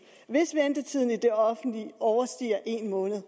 hvis ventetiden i det offentlige overstiger en måned er